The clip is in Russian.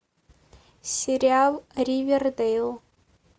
сериал ривердейл